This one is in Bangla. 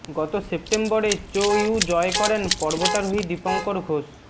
গত সেপ্টেম্বরে চো ইউ জয় করেন পর্বতারোহী দীপঙ্কর ঘোষ